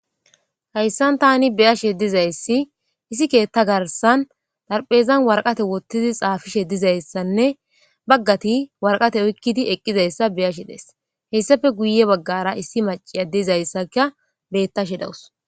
hayssan tani be'ashe dizayssi issi keetta garsan darphezan warqate wottidi xaafishe dizayssanne baggati warqate oykkidi eqqizayssa be'ashe days heyssafe guye baggara issi maciya diizayssaka beettashe dawus